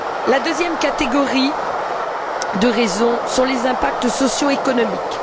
La deuxième catégorie de raisons tient aux impacts socio économiques.